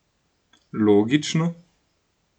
Logično?